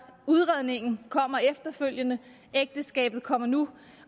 udredningen kommer efterfølgende ægteskabet kommer nu